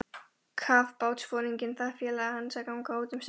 Kafbátsforinginn bað félaga hans að ganga út um stund.